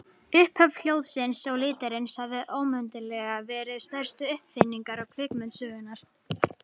Upphaf hljóðsins og litarins hafa óumdeilanlega verið stærstu uppfinningar kvikmyndasögunnar.